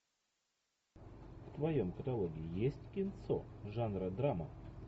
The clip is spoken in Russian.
в твоем каталоге есть кинцо жанра драма